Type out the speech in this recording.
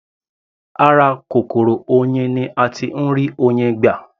Ara kòkòrò oyin ni a tí ń rí Oyin gbà.